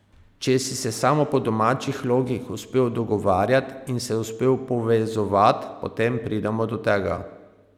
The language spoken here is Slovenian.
Če si se samo po domačih logih uspel dogovarjat in se uspel povezovat, potem pridemo do tega.